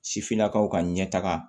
Sifinnakaw ka ɲɛtaga